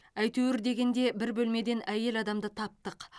әйтеуір дегенде бір бөлмеден әйел адамды таптық